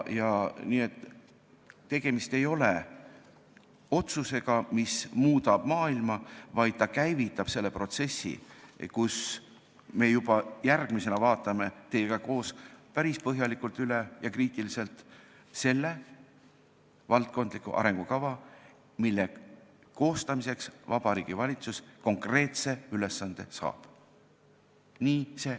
Nii et tegemist ei ole otsusega, mis muudab maailma, vaid see käivitab protsessi, mille raames me juba järgmisena vaatame koos teiega päris põhjalikult ja kriitiliselt üle valdkondliku arengukava, mille koostamiseks Vabariigi Valitsus konkreetse ülesande saab.